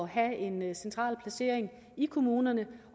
have en central placering i kommunerne